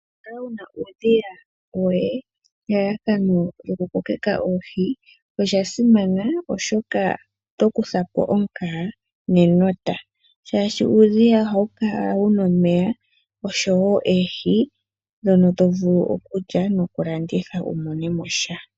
Okukala wu na uudhiya woye nelalakano lyokukokeka oohi oshasimana, oshoka oto kutha po omukaga nenota, shaashi uudhiya ohawu kala wu na omeya noshowo oohi ndhono to vulu okulya nokulanditha wu mone mo sha.